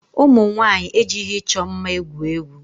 Ụmụ nwaanyị ejighị ịchọ mma egwu egwu.